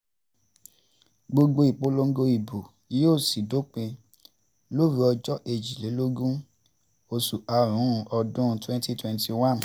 gbogbo ìpolongo ìbò yóò sì dópin lóru ọjọ́ kejìlélógún um oṣù karùn-ún ọdún twenty twenty one